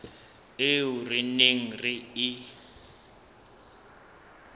eo re neng re e